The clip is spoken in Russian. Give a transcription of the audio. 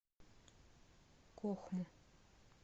кохму